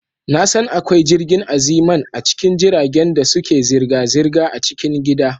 Na san akwai jirgin Aziman a cikin jiragen da suke zirga-zirga a cikin gida.